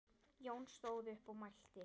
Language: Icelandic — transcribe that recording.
Jón stóð upp og mælti